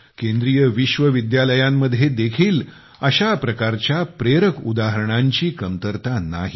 केंद्रीय विश्वविद्यालयांमध्ये देखील अशा प्रकारच्या प्रेरक उदाहरणांची कमतरता नाही